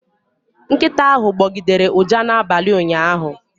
Nkịta ahụ gbọgidere ụja n'abalị ụnyaahụ